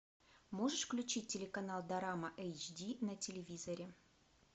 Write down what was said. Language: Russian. можешь включить телеканал дорама эйч ди на телевизоре